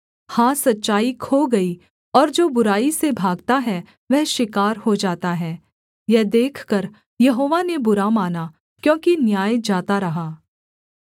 हाँ सच्चाई खो गई और जो बुराई से भागता है वह शिकार हो जाता है यह देखकर यहोवा ने बुरा माना क्योंकि न्याय जाता रहा